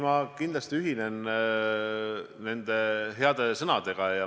Ma kindlasti ühinen nende heade sõnadega.